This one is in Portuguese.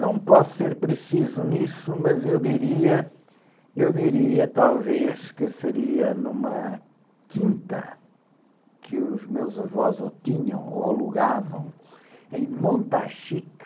Não posso ser preciso nisso, mas eu diria, eu diria talvez que seria numa quinta que os meus avós ou tinham ou alugavam em Montachique.